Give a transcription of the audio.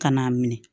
Ka n'a minɛ